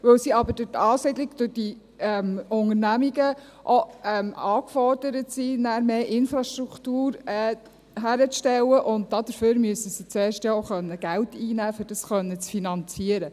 Weil sie aber durch die Ansiedlung dieser Unternehmungen aufgefordert sind, mehr Infrastruktur aufzustellen, müssen sie zuerst Geld einnehmen können, um dies zu finanzieren.